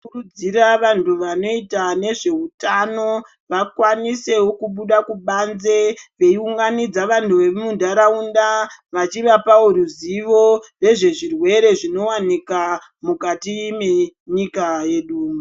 Tinokurudzira vantu vanoita nezveutano vakwanisewo kubuda kubanze veiunganidza vantu vemuntaraunda vachivapawo ruzivo rwezvezvirwere zvinowanika mukati menyika yedu.